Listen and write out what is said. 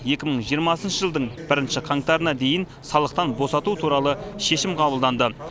екі мың жиырмасыншы жылдың бірінші қаңтарына дейін салықтан босату туралы шешім қабылданды